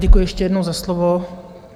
Děkuji ještě jednou za slovo.